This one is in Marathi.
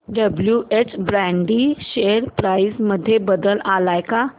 डब्ल्युएच ब्रॅडी शेअर प्राइस मध्ये बदल आलाय का